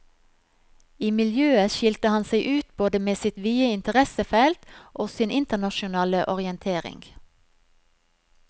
I miljøet skilte han seg ut både med sitt vide interessefelt og sin internasjonale orientering.